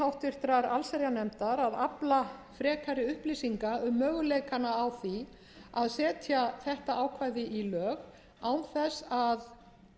háttvirtrar allsherjarnefndar að afla frekari upplýsinga um möguleikana á því að setja þetta ákvæði í lög án þess að